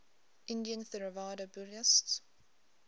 indian theravada buddhists